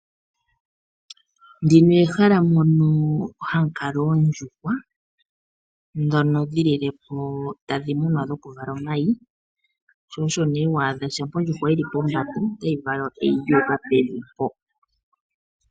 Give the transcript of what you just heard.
Ndino ehala mono hamulala oondjuhwa , dhono dhilile po tadhimunwa dhokulala omayi sho osho ne shapa ondjuhwa yili pombanda otayi vala eyi lyuka pevi po.